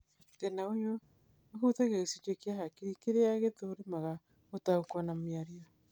Thĩna ũyũ ũhutagia gĩcunjĩ kia hakiri kĩrĩa gĩthũrimaga gũtaũkĩrwo na mĩario